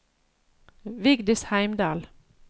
Vigdis Heimdal